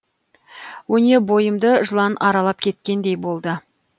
өне бойымды жылан аралап кеткендей болды